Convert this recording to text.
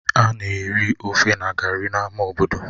Ha na-eri ofe na gari n'ámá obodo